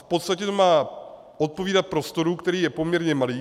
V podstatě to má odpovídat prostoru, který je poměrně malý.